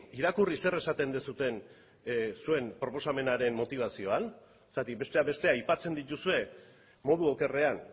irakurri zer esaten duzuen zuen proposamenaren motibazioan zergatik besteak beste aipatzen dituzue modu okerrean